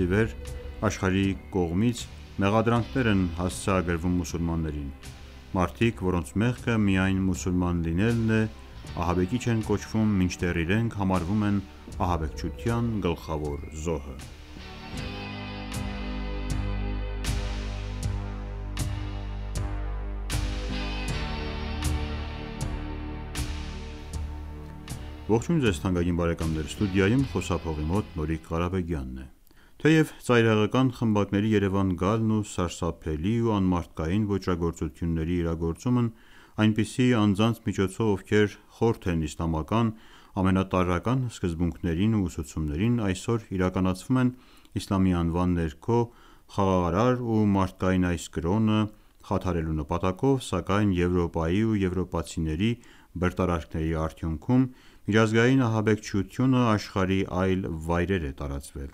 ի վեր աշխարհի կողմից մեղադրանքներ են հասցեագրվում մուսուլմաններին: Մարդիկ՝ որոնց մեղքը միայն մուսուլման լինելն է ահաբեկիչ են կոչվում ու իրենք համարվում են ահաբեկչության գլխավոր զոհերը: Թեև ծայրահեղական խմբակների երևան գալն ու սարսափելի ու անմարդկային ոճրագործությունների իրագործումն այնպիսի անձանց միջոցով ովքեր խորթ են իսլամական ամենատարրական սկզբունքներին ու ուսուցումներին, այսօր իրականացվում են իսլամի անվան ներքո խաթարելու համար խաղաղարար ու մարդկային այս կրոնը, սակայն միջազգային ահաբեկչությունը աշխարհի այլ կետեր է տարածվել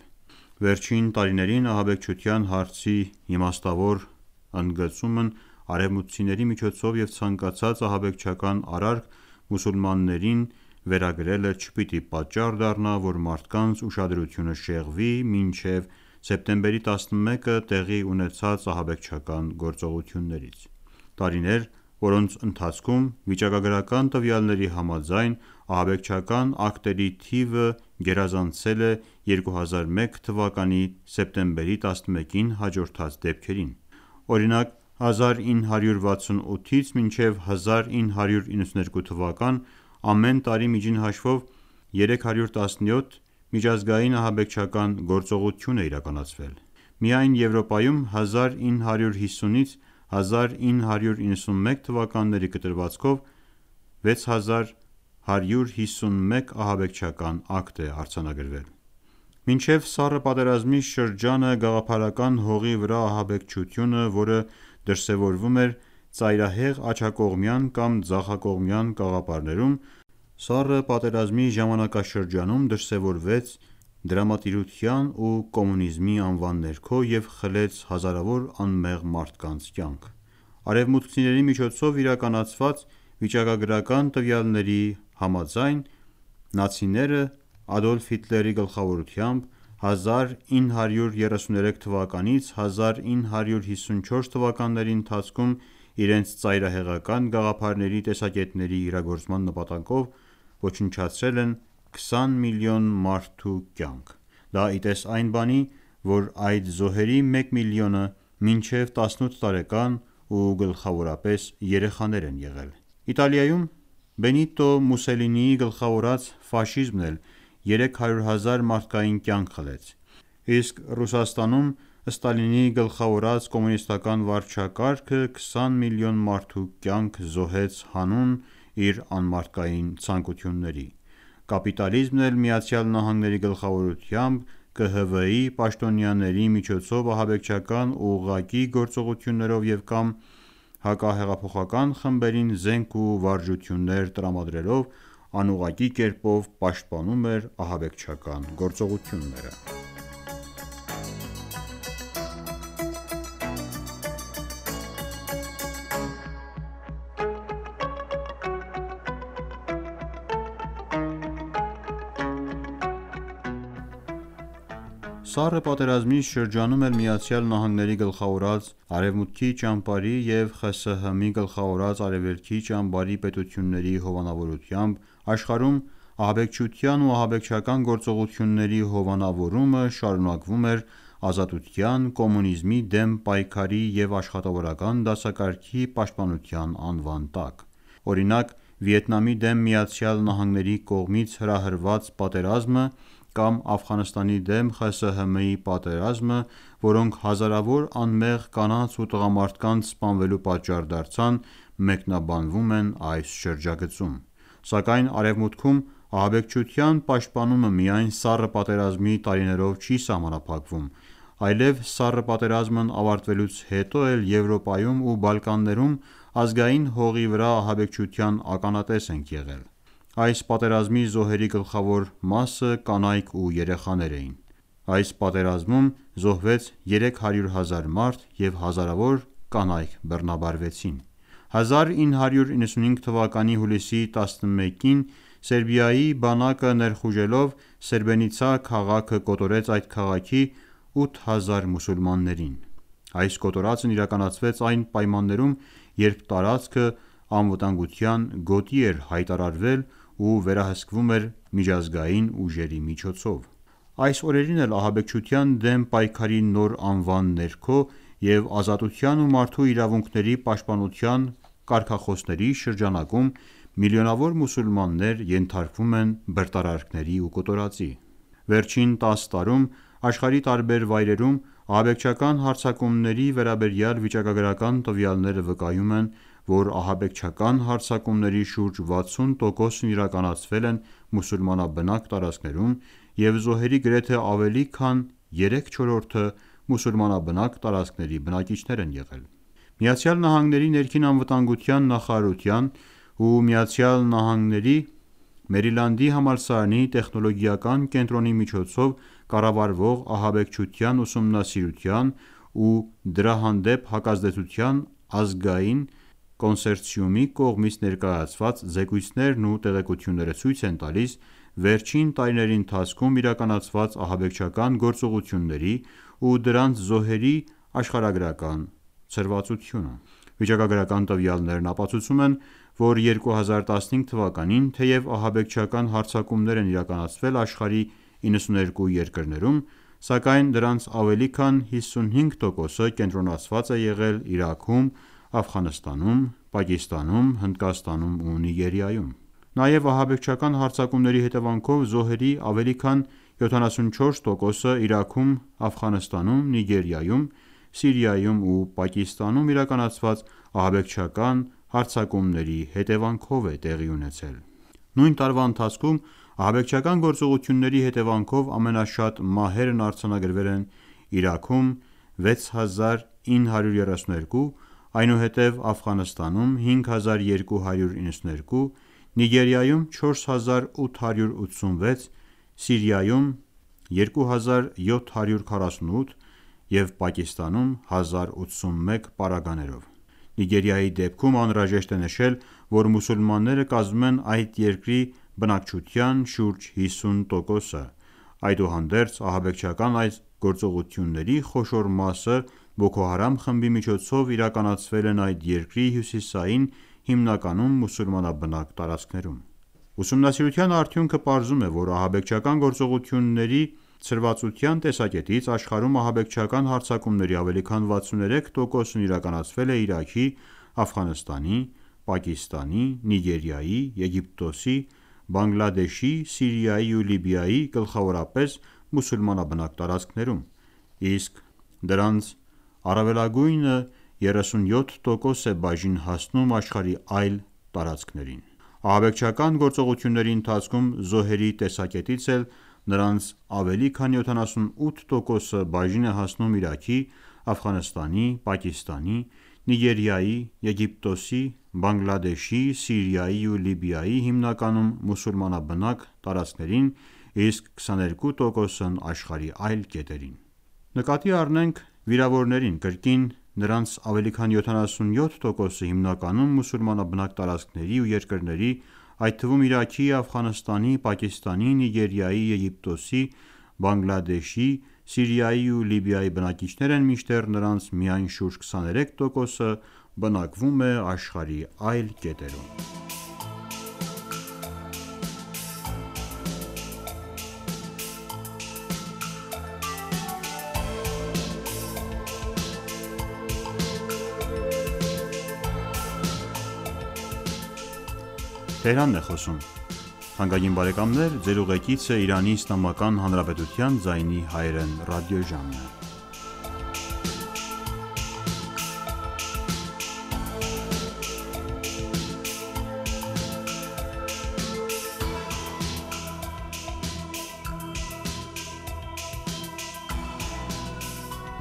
Եվրոպայից ու եվրոպացիների բռնարարքների արդյունքում: Վերջին տարիներին ահաբեկչության հարցի իմաստավոր ընդգծումն արևմուտքցիների միջոցով և ցանկացած ահաբեկչական արարք մուսուլմաններին վերագրելը չպիտի պատճառ դառնա որ մարդկանց ուշադրությունը շեղվի մինչև սեպտեմբերի 11-ը տեղի ունեցած ահաբեկչական գործողություններից: Տարիներ, որոնց ընթացքում վիճակագրական տվյալների համաձայն ահաբեկչական ակտերի թիվը գերազանցել է 2001 թվականի սեպտեմբերի 11-ին հաջորդած դեպքերին: Օրինակ 1968-ի 1992 թվականներին ամեն տարի միջին հաշվով 317 միջազգային ահաբեկչական գործողություններ են իրականացվել: Միայն Եվրոպայում 1950-ից 1991 թվականների կտրվածքում 6151 ահաբեկչական ակտ է իրականացվել: Մինչև Սառը պատերազմի շրջանը գաղափարական հողի վրա ահաբեկչությունը, որոնք դրսևորվում էին ծայրահեղ աջակողմյան կամ ծայրահեղ ձախակողմյան կաղապարներում, իսկ Սառը պատերազմի շրջանում դրսևորվեց դրամատիրության ու կոմունիզմի անվան ներքո հազարավոր անմեղ մարդկանց կյանքեր խլեց: Արևմուտքցիների կողմից հրապարակված վիճակագրական տվյալների համաձայն Նացցիները Ադոլֆ Հիտլերի գլխավորությամբ 1933 թվականից 1954 թվականների ընթացքում իրենց ծայրահեղական գաղափարների տեսակետների համար զոհել են 20 միլիոն մարդու կյանքեր: Դա ի տես այն բանի, որ այդ զոհերի մեկ միլիոնը մինչև 18 տարեկան ու գլխավորապես երեխաներ են եղել: Բենիտո Մուսելինիի գլխավորած Ֆաշիզմն էլ 300 հազար մարդկային կյանք խլեց: Իսկ Ստալինի գլխավորած կոմունիզմը 20 միլիոն մարդու կյանք զոհեց հանուն իր անմարդկային ցանկությունների: Կապիտալիզմն էլ ԱՄՆ-ի գլխավորությամբ ԿՀՎ-ի պաշտոնյաների միջոցով ահաբեկչական ուղղակի գործողություններով և կամ հակահեղափոխական խմբերին զենք ու վարժություններ տրամադրելով անուղղակի կերպով պաշտպանում է նրանց ահաբեկչական գործողությունները: Սառը պատերազմի շրջանում էլ ԱՄՆ-ի գլխավորած արևմուտքի ու ԽՍՀՄ-ի գլխավորած արևելքի գերպետությունների հովանավորությամբ աշխարհում ահաբեկչության ու ահաբեկչական գործողությունների հովանավորումը շարունակվում էր ազատության, կոմունիզմի դեմ պայքարի ու աշխատավորական դասակարգի պաշտպանության անվան տակ: Օրինակ Վիետնամի դեմ ԱՄՆ-ի պատերազմը, կամ Աֆղանստանի դեմ ԽՍՀՄ-ի պատերազմները, որոնք հազարավոր անմեղ կանանց ու տղամարդկանց սպանվելու պատճառ դարձան մեկնաբանվում են այս շրջագծում: Սակայն արևմուտքում ահաբեկչության պաշտպանումը միայն Սառը պատերազմի տարիներով չի սահմանափակվում, այլև Սառը պատերազմն ավարտվելուց հետո էլ Եվրոպայում ու Բալկաններում ազգային հողի վրա ահաբեկչության ականատես ենք եղել: Այս պատերազմի զոհերի գլխավոր մասը կանայք ու երեխաներ են: Այս պատերազմում զոհվեց 300 հազար մարդ և հազարավոր կանայք բռնաբարության ենթարկվեցին: 1995 թվականի հուլիսի 11-ին սերբ բանակը ներխուժելով Սրեբրենիցա քաղաքը կոտորեց այդ քաղաքի 8000 մուսուլմանների: Այս կոտորածն իրականացվեց այն պայմաններում երբ տարածքը անվտանգության գոտի էր հայտարարվել ու վերահսկվում էր միջազգային ուժերի կողմից: Այս օրերին էլ ահաբեկչության դեմ պայքարի նոր նախագծում և ազատության ու մարդու իրավունքների կարգախոսների կաղապարում բռնարարքների ու կոտորածի են ենթարկվում միլիոնավոր մուսուլմաններ: Վերջին 10 տարիներին աշխարհի տարբեր կետերում ահաբեկչական հարձակումների վիճակագրական տվյալները վկայում են, որ ահաբեկչական հարձակումների շուրջ 60 տոկոսն իրականացվել են մուսուլմանաբնակ տարածքներում ու զոհերի գրեթե ավելի քան երեք չորրորդը մուսուլմանաբնակ տարածքների բնակիչներ են եղել: ԱՄՆ-ի ներքին անվտանգության նախարարության ու ԱՄՆ-ի Մերիլանդի համալսարանի տեխնոլոգիական կենտրոնի միջոցով կառավարվող Ահաբեկչության ուսումնասիրման ու դրա հանդեպ հակազդեցության ազգային կոնսերցիումի զեկույցներն ու տեղեկությունները ցույց են տալիս վերջին տարիների ընթացքում իրականացված ահաբեկչական գործողությունների ու դրանց զոհերի աշխարհագրական ցրվածությունը: Վիճակագրական տվյալներ ապացուցում են, որ 2015 թվականին թեև ահաբեկչական հարձակումներ են իրականացվել աշխարհի 92 երկրներում, սակայն դրանց ավելի քան 55 տոկոսը կենտրոնացած է եղել Իրաքում, Աֆղանստանում, Պակիստանում, Հնդկաստանում ու Նիգերիայում: Նաև ահաբեկչական հարձակումների հետևանքով մահերի ավելի քան 74 տոկոսը Իրաքում, Աֆղանստանում, Նիգերիայում, Սիրիայում ու Պակիստանում իրականացված ահաբեկչական հարձակումների հետևանքով է տեղի ունեցել: Նույն տարվա ընթացքում ահաբեկչական գործողությունների հետևանքով ամենաշատ մահվան դեպքերն արձանագրվել են Իրաքում՝ 6932, այնուհետև Աֆղանստանում՝ 5292, Նիգերիայում՝ 4886, Սիրիայում՝ 2748 և Պակիստանում՝ 1081 դեպք: Նիգերիայի դեպքում անհրաժեշտ է նշել, որ մուսուլմանները կազմում են այդ երկրի բնակչության շուրջ կեսը, այդուհանդերձ ահաբեկչական այդ գործողությունների խոշոր մասը Բոքոհարամ խմբի կողմից իրականացվել են այդ երկրի հյուսիսային հիմնականում մուսուլմանաբնակ տարածքներում: Ուսումնասիրության արդյունքը պարզում է, որ ահաբեկչական գործողությունների ցրվածության տեսակետից աշխարհում ահաբեկչական հարձակումների ավելի քան 63 տոկոսն իրականացվել է Իրաքի, Աֆղանստանի, Պակիստանի, Նիգերիայի, Եգիպտոսի, Բանգլադեշի, Սիրիայի ու Լիբիայի գլխավորապես մուսուլմանաբնակ տարածքներում, իսկ դրանց առավելագույնը 37 տոկոս է բաժին հասնում աշխարհի այլ տարածքներին: Ահաբեկչական գործողությունների ընթացքում զոհերի տեսակետից էլ նրանց ավելի քան 78 տոկոսը բաժին է հասնում Իրաքի, Աֆղանստանի, Պակիստանի, Նիգերիայի, Եգիպտոսի, Բանգլադեշի, Սիրիայի ու Լիբիայի հիմնականում մուսուլմանաբնակ տարածքներին իսկ 22 տոկոսն ՝ աշխարհի այլ կետերին: Եթե նկատի առնենք վիրավորներին կրկին նրանց ավելի քան 77 տոկոսը հիմնականում մուսուլմանբնակ տարածքների ու երկրների, այդ թվում Իրաքի, Աֆղանստանի, Պակիստանի, Նիգերիայի, Եգիպտոսի, Բանգլադեշի, Սիրիայի ու Լիբիայի բնակիչներ են մինչդեռ նրանց միայն շուրջ 23 տոկոսը բնակվում է աշխարհի այլ կետերում: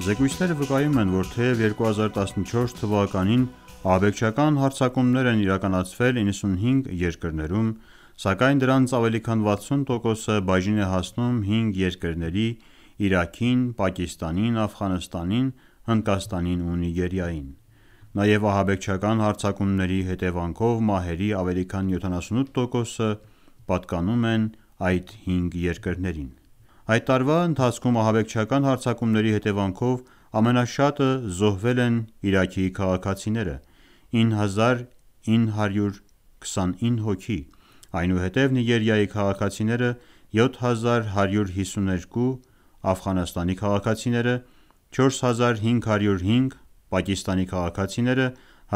Զեկույցները վկայում են, որ թեև 2014 թվականին ահաբեկչական հարձակումներ են իրականացվել 95 երկրներում, սակայն դրանց ավելի քան 60 տոկոսը բաժին է հասնում հինգ երկրների՝ Իրաքին, Պակիստանին, Աֆղանստանին, Հնդկաստանին ու Նիգերիային: Նաև ահաբեկչական հարձակումների հետևանքով մահերի ավելի քան 78 տոկոսը պատկանում են հինգ երկրների՝ Իրաքին, Նիգերիային, Աֆղանստանին, Պակիստանին ու Սիրիային: Այդ տարվա ընթացքում ահաբեկչական հարձակումների հետևանքով ամենաշատը զոհվել են Իրաքի քաղաքացիները՝ 9929 հոգի, այնուհետև Նիգերիայի քաղաքացիները՝ 7152 հոգի, Աֆղանստանի քաղաքացիները՝ 4505 հոգի, Պակիստանի քաղաքացիները՝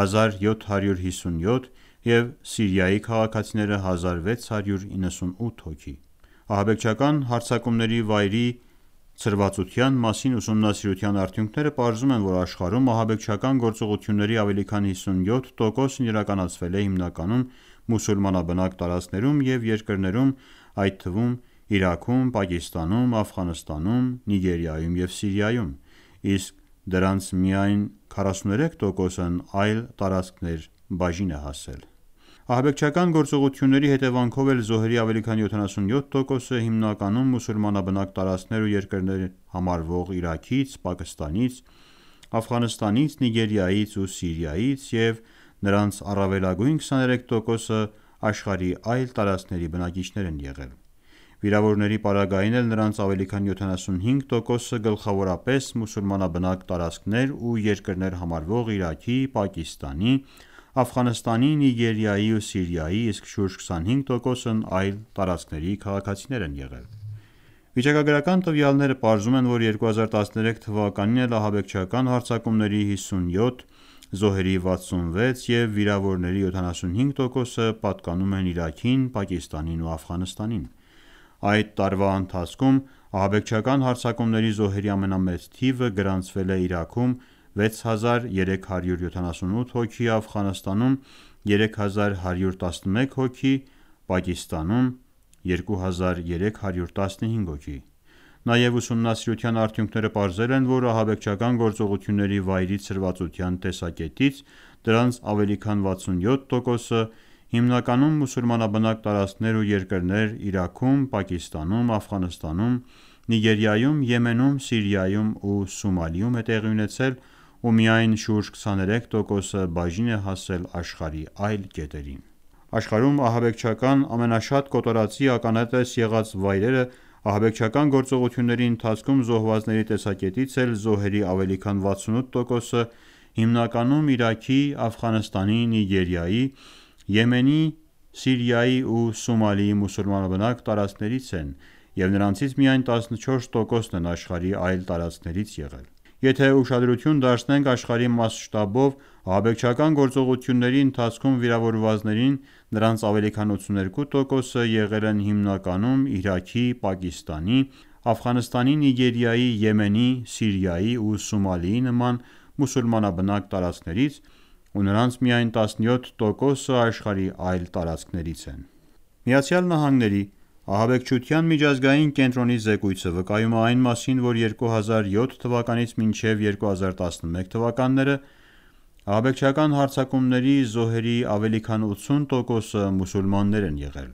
1757 հոգի և Սիրիայի քաղաքացիները՝ 1698 հոգի: Ահաբեկչական հարձակումների վայրի ցրվածության մասին ուսումնասիրության արդյունքները պարզում են, որ աշխարհում ահաբեկչական գործողությունների ավելի քան 57 տոկոսն իրականացվել է հիմնականում մուսուլմանաբնակ տարածքներ ու երկրներ համարվող Իրաքում, Պակիստանում, Աֆղանստանում, Նիգերիայում ու Սիրիայում և դրանց միայն 43 տոկոսն այլ տարածքներին բաժին է հասել: Ահաբեկչական գործողությունների հետևանքով զոհերի տեսակետից էլ զոհերի ավելի քան 77 տոկոսը հիմնականում մուսուլմանաբնակ տարածքներ ու երկրներ համարվող Իրաքից, Պակիստանից, Աֆղանստանից, Նիգերիայից ու Սիրիայից և նրան առավելագույնը 23 տոկոսը աշխարհի այլ տարածքների բնակիչներ են եղել: Վիրավորների պարագային էլ նրանց ավելի քան 75 տոկոսը գլխավորապես մուսուլմանաբնակ տարածքներ ու երկրներ համարվող Իրաքի, Պակիստանի, Աֆղանստանի, Նիգերիայի ու Սիրիայի, իսկ շուրջ 25 տոկոսն այլ տարածքների քաղաքացիներ են եղել: Վիճակագրական տվյալները պարզում են, որ 2013 թվականին էլ ահաբեկչական հարձակումների՝ 57, զոհերի՝ 66 և վիրավորների՝ 75 տոկոսը պատկանում են Իրաքին, Պակիստանին ու Աֆղանստանին: Այդ տարվա ընթացքում ահաբեկչական հարձակումների զոհերի ամենամեծ թիվը գրանցվել է Իրաքում՝ 6378 հոգի, Աֆղանստանում՝ 3111 հոգի և Պակիստանում ՝ 2315 հոգի: Նաև ուսումնասիրության արդյունքները պարզել են, որ ահաբեկչական գործողությունների վայրի ցրվածության տեսակետից դրանց ավելի քան 67 տոկոսը հիմնականում մուսուլմանաբնակ տարածքներ ու երկրներ Իրաքում, Պակիստանում, Աֆղանստանում, Նիգերիայում, Եմենում, Սիրիայում ու Սոմալիում է տեղի ունեցել ու միայն շուրջ33 տոկոսը բաժին է հասել աշխարհի այլ կետերին: Ահաբեկչական գործողությունների ընթացքում զոհվածների տեսակետից էլ զոհերի ավելի քան 86 տոկոսը հիմնականում Իրաքի, Աֆղանստանի, Նիգերիայի, Եմենի, Սիրիայի ու Սոմալիի մուսուլմանաբնակ տարածքներից են և նրանցից միայն 14 տոկոսն են աշխարհի այլ տարածքներից եղել: Եթե ուշադրություն դարձնենք աշխարհի մասշտաբով ահաբեկչական գործողությունների ընթացքում վիրավորվածներին, նրանց ավելի քան 82 տոկոսը եղել են հիմնականում Իրաքի, Պակիստանի, Աֆղանստանի, Նիգերիայի, Եմենի, Սիրիայի ու Սոմալիի նման մուսուլմանաբնակ տարածքներից ու նրանց միայն 17 տոկոսը աշխարհի այլ տարածքներից են: ԱՄՆ-ի հակաահաբեկչական միջազգային կենտրոնի զեկույցը վկայում է այն մասին, որ 2007-ից 2011 թվականների կտրվածքում ահաբեկչական հարձակումների զոհերի ավելի քան 80 տոկոսը մուսուլմաններ են եղել: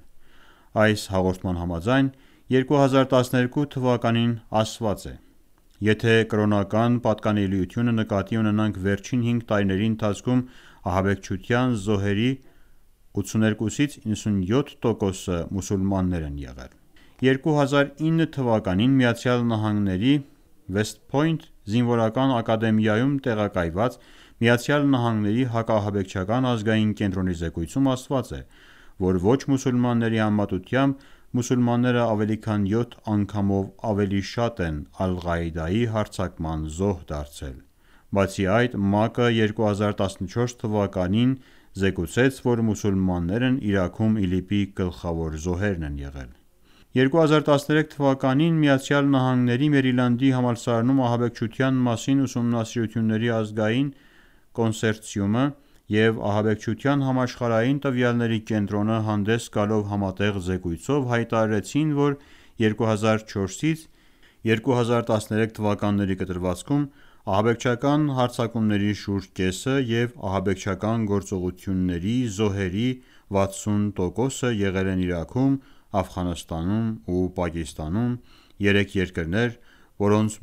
Այս հաղորդման համաձայն 2012 թվականին ասված է. «Եթե կրոնական պատկանելիությունը նկատի ունենանք վերջին հինգ տարիների ընթացքում ահաբեկչության զոհերի 82-ից 97 տոկոսը մուսուլմաններ են եղել»: 2009 թվականին ԱՄՆ-ի «Վեսթփոյնթ» զինվորական ակադեմիայում տեղակայված ԱՄՆ-ի հակաահաբեկչական ազգային կենտրոնի զեկույցում ասված է, որ ոչ-մուսուլմանների համեմատությամբ մուսուլմանները ավելի քան 7 անգամով ավելի շատ են Ալղաիդայի հարձակման զոհ դարձել: Բացի այդ ՄԱԿ-ը 2014 թվականին զեկուցեց, որ մուսուլմաններն Իրաքում ԻԼԻՊ-ի գլխավոր զոհերն են եղել: 2013 թվականին ԱՄՆ-ի Մերիլանդի համալսարանում «Ահաբեկչության մասին ուսումնասիրությունների ազգային կոնսերցիում»-ը և «Ահաբեկչության համաշխարհային տվյալների կենտրոն»-ը հանդես գալով համատեղ զեկույցով հայտարարեցին, որ 2004-ից 2013 թվականների կտրվածքում ահաբեկչական հարձակումների շուրջ կեսը և ահաբեկչական գործողությունների զոհերի 60 տոկոսը եղել են Իրաքում, Աֆղանստանում ու Պակիստանում՝ երեք երկրներ, որոնց